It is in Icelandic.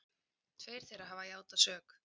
Tveir þeirra hafa játað sök